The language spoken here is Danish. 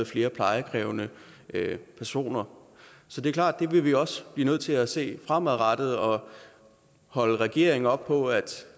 flere plejekrævende personer så det er klart at det vil vi også blive nødt til at se fremadrettet og holde regeringen op på at